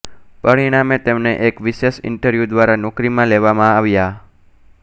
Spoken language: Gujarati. પરિણામે તેમને એક વિશેષ ઇન્ટરવ્યૂ દ્વારા નોકરીમાં લેવામાં આવ્યા